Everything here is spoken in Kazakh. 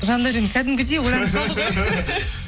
жандаурен кәдімгідей ойланып қалды ғой